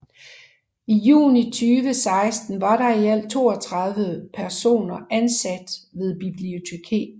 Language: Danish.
I juni 2016 var der i alt 32 personer ansat ved bibliotekerne